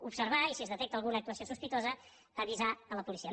observar i si es detecta alguna actuació sospitosa avisar la policia